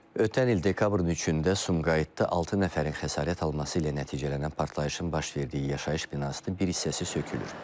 Ötən il dekabrın 3-də Sumqayıtda altı nəfərin xəsarət alması ilə nəticələnən partlayışın baş verdiyi yaşayış binasının bir hissəsi sökülür.